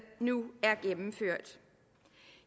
nu er gennemført